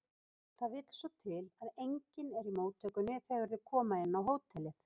Það vill svo til að enginn er í móttökunni þegar þau koma inn á hótelið.